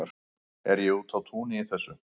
er ég úti á túni í þessu